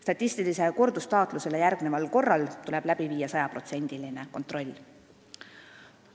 Statistilisele kordustaatlusele järgneval korral tuleb läbi viia sajaprotsendiline kontroll.